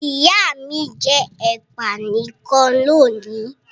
Ìyá mi jẹ ẹ̀pà nìkan lónìí.